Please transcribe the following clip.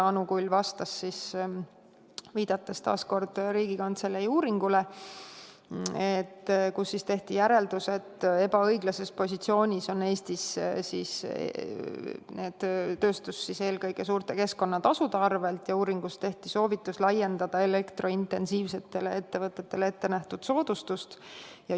Anu Kull vastas, viidates taas kord Riigikantselei uuringule, milles tehti järeldus, et ebaõiglases positsioonis on Eesti tööstus eelkõige suurte keskkonnatasude tõttu, ja uuringus anti soovitus laiendada elektrointensiivsetele ettevõtetele ette nähtud soodustust.